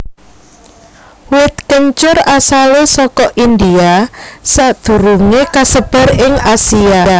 Wit kencur asalé saka India sadurungé kasebar ing Asia